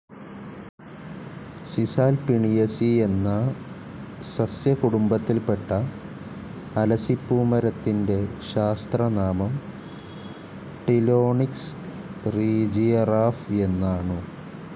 സിസൽ പിണിഎസി എന്നാ സസ്സ്യ കുടുംബത്തിൽപ്പെട്ട അലസിപൂമരത്തിൻ്റെ ശാസ്ത്രനാമം ടിലോണിക്സ് റീജിയറാഫ് എന്നാണു.